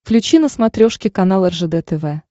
включи на смотрешке канал ржд тв